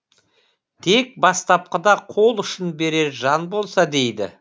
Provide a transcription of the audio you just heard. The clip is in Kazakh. тек бастапқыда қол ұшын берер жан болса дейді